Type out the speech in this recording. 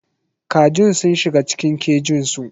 Kajin sun shiga cikin kejinsu.